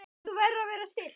En þú verður að vera stillt.